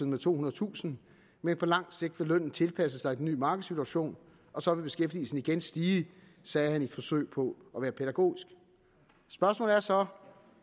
med tohundredetusind men på lang sigt vil lønnen tilpasse sig den ny markedssituation og så vil beskæftigelsen igen stige sagde han i et forsøg på at være pædagogisk spørgsmålet er så